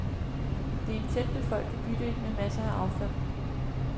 Det er en tæt befolket bydel med masser af affald.